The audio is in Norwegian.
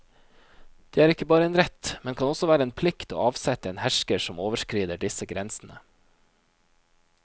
Det er ikke bare en rett, men kan også være en plikt, å avsette en hersker som overskrider disse grensene.